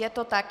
Je to tak.